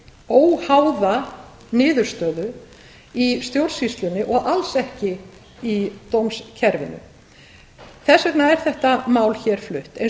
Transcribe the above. óháða niðurstöðu í stjórnsýslunni og alls ekki í dómskerfinu þess vegna er þetta mál hér flutt eins og